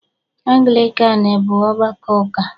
Anglịkan bụ ọgbakọ ụka